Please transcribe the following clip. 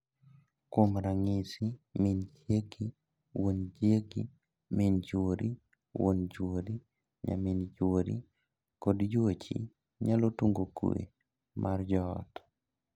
Kuom ranyisi, min chiegi, wuon chiegi, min chuori, wuon chuori, nyamin chuori, kod yuochi nyalo tungo kwe mar joot.